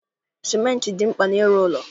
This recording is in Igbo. Sementị dị mkpa n'ịrụ ụlọ